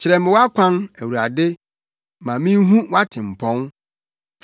Kyerɛ me wʼakwan, Awurade, na minhu wʼatempɔn.